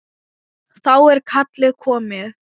Þá er kallið komið.